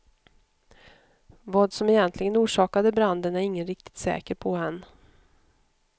Vad som egentligen orsakade branden är ingen riktigt säker på än.